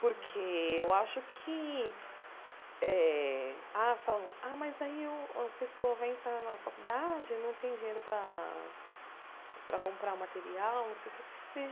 Porque eu acho que eh... Ah falam, ah mas aí a pessoa vai entrar na faculdade e não tem dinheiro para para comprar material, não sei o quê.